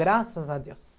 Graças a Deus.